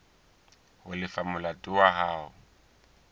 ho lefa molato wa hao